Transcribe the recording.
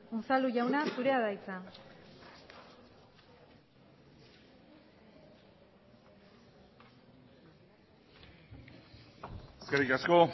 unzalu jauna zurea da hitza eskerrik asko